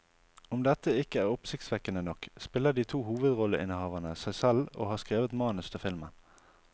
Om dette ikke er oppsiktsvekkende nok, spiller de to hovedrolleinnehaverne seg selv og har skrevet manus til filmen.